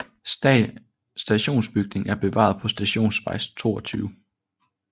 Stationsbygningen er bevaret på Stationsvej 22